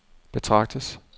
betragtes